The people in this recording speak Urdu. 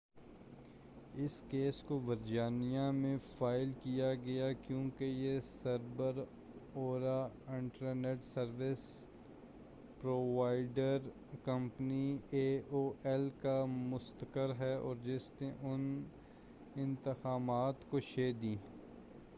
اس کیس کو ورجینیا میں فائل کیا گیا کیوں کہ یہ سر بر آوردہ internet service provider company A O L کا مستقر ہے اور جس نے ان اتہامات کو شہ دی